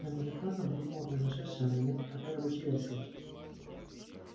я многократно обдумывал произошедшее у меня нет никакой рабочей версии